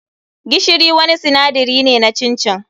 Gishiri wani sinadari ne na chin chin.